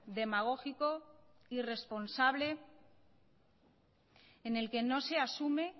demagógico irresponsable en el que no se asume